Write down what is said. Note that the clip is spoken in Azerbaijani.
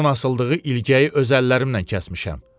Mən onun asıldığı ilgəyi öz əllərimlə kəsmişəm.